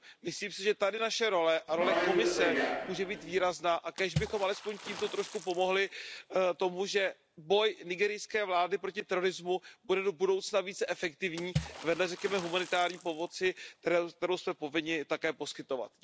Myslím si, že tady naše role a role Komise může být výrazná a kéž bychom alespoň tímto trošku pomohli tomu, že boj nigerijské vlády proti terorismu bude do budoucna více efektivní, vedle řekněme humanitární pomoci, kterou jsme povinni také poskytovat.